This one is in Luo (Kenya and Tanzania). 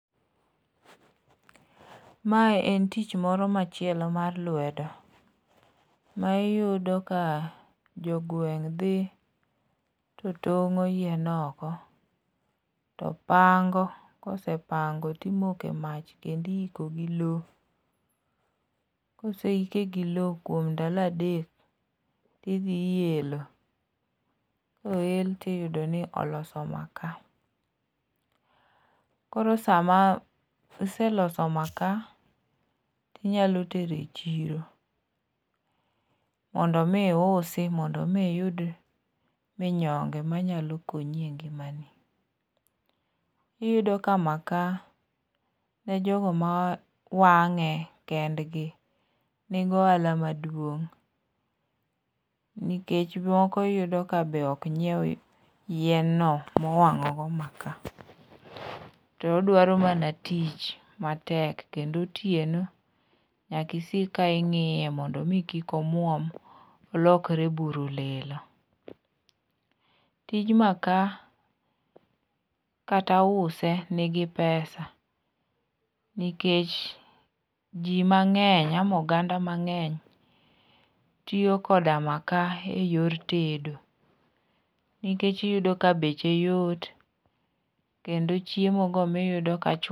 Mae en tich moro machielo mar lwedo ma iyudo ka jogweng' dhi to tong'o yien oko, topango, kosepango timoke mach kendo iiko gi lowo. Koseike gi lowo kuom ndalo adek, tidhi iyelo ,koel to iyudo ni oloso maka, Koro sama iseloso maka, tinyalo tero e chiro, mondo omiusi mondo omi iyud minyonge manyalo konyi e ngimani. Iyudo ka maka, ne jogo mawang'e kendgi, nigi ohala maduong' nikech moko iyudo ka be ok nyiew yienno mowang'ogo maka, to odwaro mana tich matek kendo otieno, nyaka isik ka ing'iye mondo omi kik omuom, olokre buru lilo. Tich maka kata use nigi pesa nikech ji mang'eny ama oganda mang'eny tiyo koda maka e yor tedo nikech iyudo ka beche yot kendo chiemogo miyudo ka